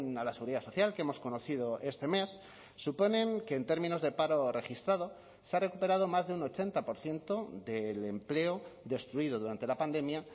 a la seguridad social que hemos conocido este mes suponen que en términos de paro registrado se ha recuperado más de un ochenta por ciento del empleo destruido durante la pandemia